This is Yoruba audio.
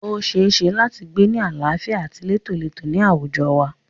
O ṣeéṣe láti gbé ni àlàáfíà àti létólètó ní àwùjọ wa.